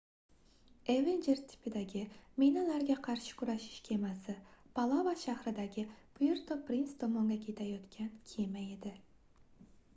evenjer tipidagi minalarga qarshi kurashish kemasi palava shahridagi puerto prince tomonga ketayotgan kema edi